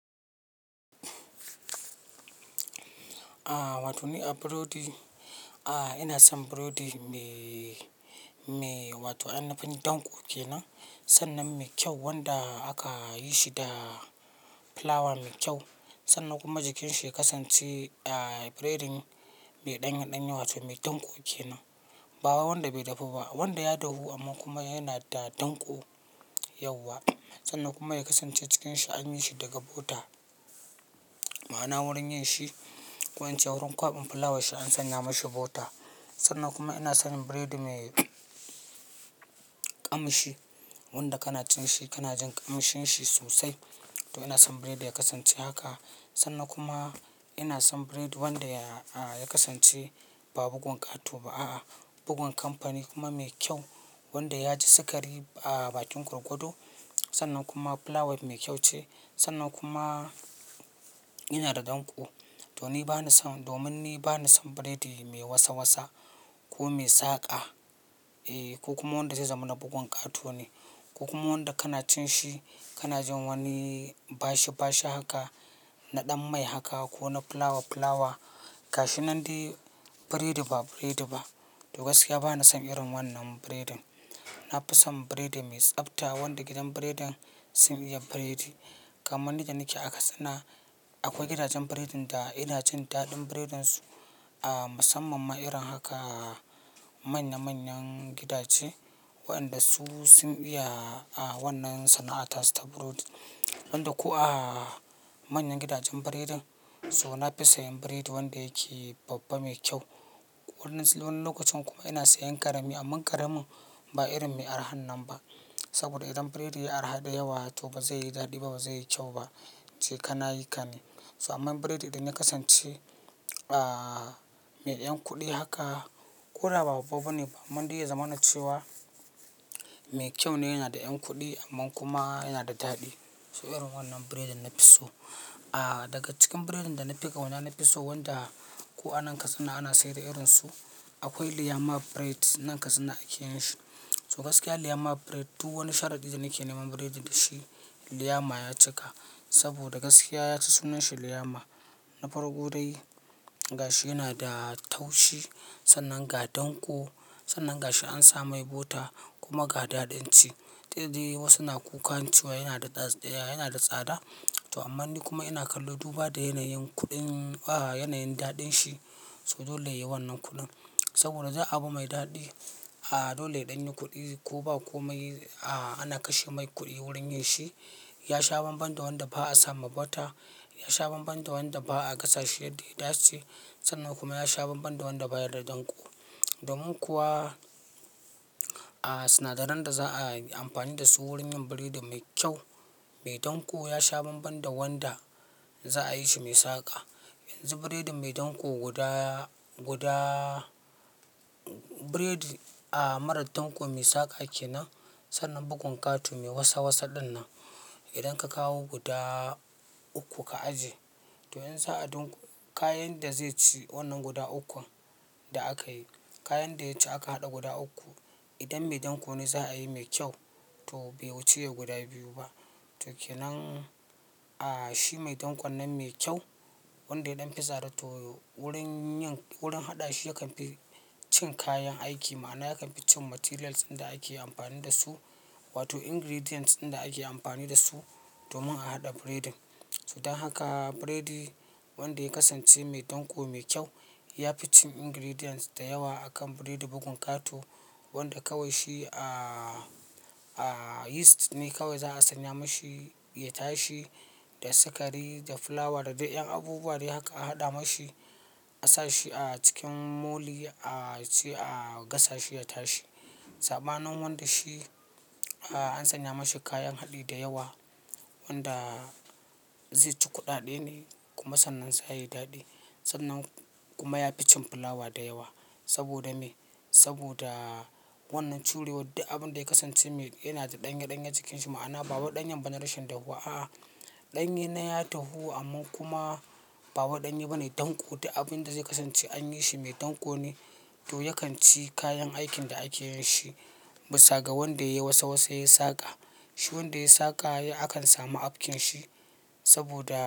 A wato ni a burodi, a ina son burodi me, me wato ainifin danko kenan. Sannan me kyau wanda aka yi shi da fulawa me kyau. Sannan kuma jikinshi ya kasance eee biredin bai ɗanye ɗanye wato me danko kenan. Ba wanda bai dafu ba wanda ya dahu amma kuma yana da danko yauwa. Sannan kuma ya kasance cikinshi an yi shi daga bota. Ma'ana wurin yin shi, ko in ce wurin kwaɓin fulawa shi an sanya mashi bota. Sannan kuma ina son biredi me ƙamshi wanda kana cin shi kana jin ƙamshin shi sosai. To ina son biredi ya kasance haka sannan kuma ina son biredi wanda ya kasance babu bugun ƙato ba a'a. Bugun kamfani kuma me kyau wanda ya ji sikari a bakin gwargwado. Sannan kuma fulawa mai kyau ce, sannan kuma yana da danko. To ni bani son, domin ni bani son biredi mai wasa wasa ko mai saƙa. E ko kuma wanda zai zama na bugun ƙato ne, ko kuma wanda kana cin shi kana jin wani bashi bashi haka, na ɗan mai haka ko na fulawa fulawa. Gashi nan dai burodi ba burodi ba. To gaskiya bani son irin wannan biredin. Na fi son biredi mai tsabta wanda gidan biredin sun iya biredi. Kamanni da nake a Katsina akwai gidajen biredin da ina cin daɗin biredin su a musamman ma irin haka manya manyan gidaje waɗanda su sun iya a wannan sana'ata su ta burodi. Wanda kuwa a manyan gidajen biredin, so na fi sayan biredi wanda yake babba mai kyau. Wani, wani lokacin kuma ina sayan ƙarami amma ƙaramin ba irin mai araha nan ba. Saboda idan biredi yayi araha da yawa to ba zai yi daɗi ba ba zai yi kyau ba. Ce kana yi ka ne. So amman biredi idan ya kasance aaaa me ƴan kuɗi haka, ko da ba babba ne ba amma dai ya zama na cewa mai kyau ne yana da ƴan kuɗi amma kuma yana da daɗi. To irin wannan biredin na fi so. A daga cikin biredin da na fi ƙauna na fi so wanda ko a nan Katsina ana sayar da irin su. Akwai Liyamma Bread nan Katsina ake yin shi. To gaskiya Liyamma Bread duk wani sharaɗi da nake neman biredi da shi Liyama ya cika. Saboda gaskiya ya ci sunan shi Liyama na farko dai gashi yana da taushi. Sannan ga danko, sannan ga shi an sa mai bota kuma ga daɗin ci. To dai wasu suna kukan cewa yana da tsatsa yana da tsada. To aman ni kuma ina kallo duba da yanayin kuɗin a yanayin daɗin shi. To dole yayi wannan kuɗin. Saboda za a bi mai daɗi a dole ya ɗanyi kuɗi ko ba ko mai a ana kashe mai kuɗi wurin yin shi. Ya sha banban da wanda ba a sama bota, ya sha banban da wanda ba a gasa shi yadda ya dace. Sannan kuma ya sha banban da wanda baya da danko. Domin kuwa a sinadaran da za a yi amfani da su wurin yin biredi mai kyau, mai danƙo ya sha banban da wanda za a yi shi mai saƙa. Yanzu biredi mai danƙo guda, gudaaa biredi a marar danƙo mai saƙa kenan, sannan bugun ƙato mai wasa wasa ɗin nan. Idan ka kawo guda uku ka ajiye. To yanzu a dunƙa kayan da zai ci wannan guda ukun da aka yi. Kayan da ya ci aka haɗa guda uku. Idan mai danko ne za a yi mai kyau to bai wuce guda biyu ba. To kenan a shi mai dankon nan mai kyau wanda yaɗan fi tsada to wurin yin, wurin haɗa shi yakan fi cin kayan aiki. Ma'ana yakan fi cin materials inda ake amfani da su wato ingredients inda ake amfani da su domin a haɗa biredin. To don haka biredi wanda ya kasance mai danko mai kyau, ya fi cin ingredients da yawa akan birrdi bugun ƙato. Wanda kawai shi a, a yeast ne kawai za a sanya mashi ya tashi da sikari, da fulawa, da dai ƴan abubuwa dai haka a haɗa mashi. A sa shi a cikin moli a ci a gasa shi ya tashi. Saɓanin wanda shi a an sanya mashi kayan haɗi da yawa wanda zai ci kuɗaɗe ne kuma sannan za yayi daɗi. Sannan kuma ya fi cin fulawa da yawa. Saboda me? Saboda wannan curewad duk abun da ya kasance me yana da ɗanye ɗanye cikin shi ma'ana ba wai ɗanyen ba na rashin dahuwa a'a. Ɗanye na ya dahu amma kuma ba wai ɗanye bane danko duk abun da zai kasance an yi shi mai danƙo ne. To yakan ci kayan aikin da ake yin shi. Bisa ga wanda yayi wasa wasa yayi saƙa. Shi wanda yayi saƙa akan samu afkin shi saboda.